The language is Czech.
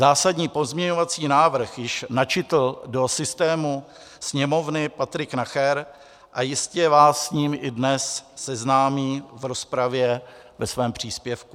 Zásadní pozměňovací návrh již načetl do systému Sněmovny Patrik Nacher a jistě vás s ním dnes i seznámí v rozpravě ve svém příspěvku.